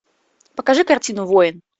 покажи картину воин